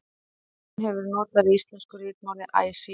Stafurinn hefur verið notaður í íslensku ritmáli æ síðan.